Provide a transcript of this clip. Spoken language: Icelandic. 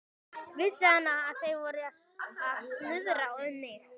Vissi hann, að þeir væru að snuðra um mig?